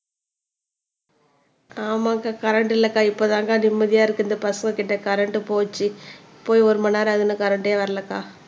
ஆமாக்கா கரண்ட் இல்லக்கா இப்பதாங்க நிம்மதியா இருக்கு இந்த பசங்ககிட்ட கரண்ட் போச்சு போய் ஒரு மணி நேரம் ஆகுது இன்னும் கரண்டே வரலைக்கா